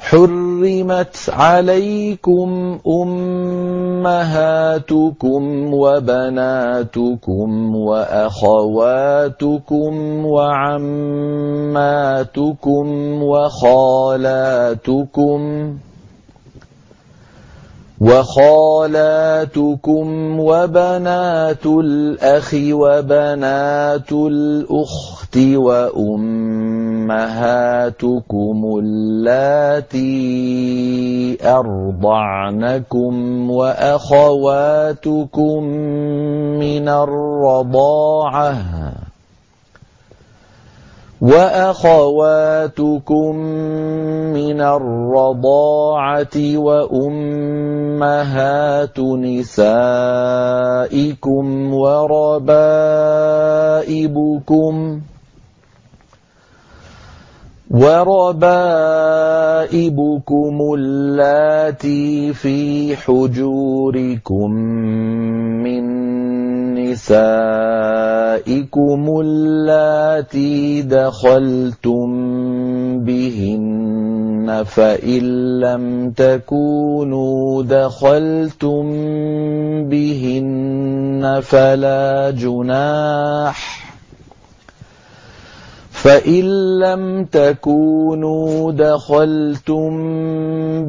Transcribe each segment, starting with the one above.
حُرِّمَتْ عَلَيْكُمْ أُمَّهَاتُكُمْ وَبَنَاتُكُمْ وَأَخَوَاتُكُمْ وَعَمَّاتُكُمْ وَخَالَاتُكُمْ وَبَنَاتُ الْأَخِ وَبَنَاتُ الْأُخْتِ وَأُمَّهَاتُكُمُ اللَّاتِي أَرْضَعْنَكُمْ وَأَخَوَاتُكُم مِّنَ الرَّضَاعَةِ وَأُمَّهَاتُ نِسَائِكُمْ وَرَبَائِبُكُمُ اللَّاتِي فِي حُجُورِكُم مِّن نِّسَائِكُمُ اللَّاتِي دَخَلْتُم بِهِنَّ فَإِن لَّمْ تَكُونُوا دَخَلْتُم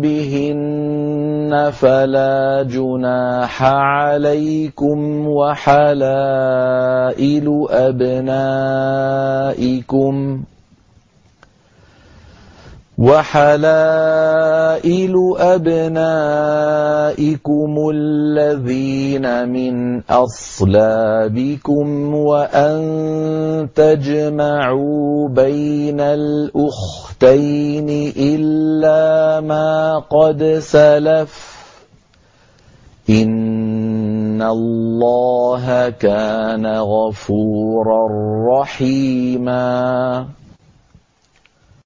بِهِنَّ فَلَا جُنَاحَ عَلَيْكُمْ وَحَلَائِلُ أَبْنَائِكُمُ الَّذِينَ مِنْ أَصْلَابِكُمْ وَأَن تَجْمَعُوا بَيْنَ الْأُخْتَيْنِ إِلَّا مَا قَدْ سَلَفَ ۗ إِنَّ اللَّهَ كَانَ غَفُورًا رَّحِيمًا